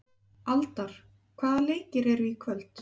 Aldar, hvaða leikir eru í kvöld?